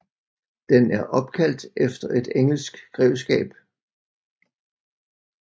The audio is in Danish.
Den er opkaldt efter et engelsk grevskab